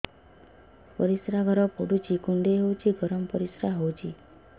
ପରିସ୍ରା ଘର ପୁଡୁଚି କୁଣ୍ଡେଇ ହଉଚି ଗରମ ପରିସ୍ରା ହଉଚି